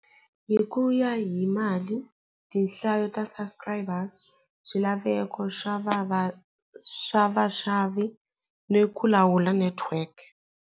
Hi ku ya hi mali tinhlayo ta subscribers swilaveko swa vava swa vaxavi ni ku lawula network.